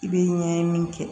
I bɛ ɲɛɲini kɛ